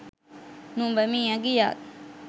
නුඹ මියගියත්